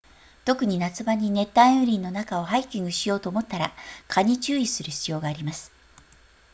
特に夏場に熱帯雨林の中をハイキングしようと思ったら蚊に注意する必要があります